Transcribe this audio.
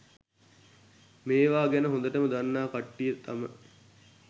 මේවා ගැන හොඳටම දන්නා කට්ටිය තම